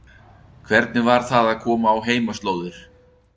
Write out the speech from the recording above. Jóhannes: Hvernig var það að koma á heimaslóðir?